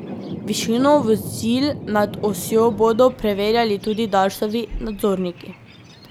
Višino vozil nad osjo bodo preverjali tudi Darsovi nadzorniki.